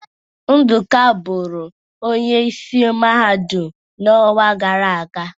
Nduka bụrụ Onye isi Mahadum n'ọnwa gara aga.